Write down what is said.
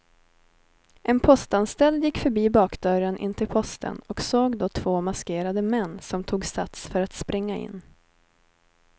En postanställd gick förbi bakdörren in till posten och såg då två maskerade män som tog sats för att springa in.